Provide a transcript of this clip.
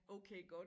Okay godt